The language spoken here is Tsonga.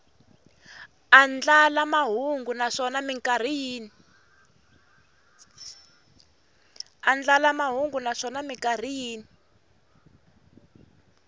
andlala mahungu naswona mikarhi yin